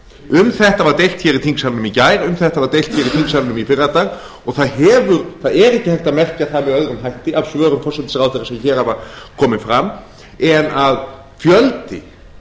um þetta var deilt í þingsalnum í gær um þetta var deilt í þingsalnum í fyrradag og það er ekki hægt að merkja það með öðrum hætti af svörum forsætisráðherra sem hér hafa komið fram en að fjöldi